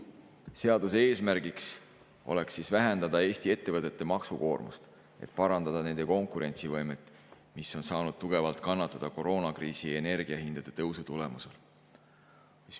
Seaduse eesmärgiks oleks vähendada Eesti ettevõtete maksukoormust, et parandada nende konkurentsivõimet, mis on saanud tugevalt kannatada koroonakriisi ja energiahindade tõusu tulemusel.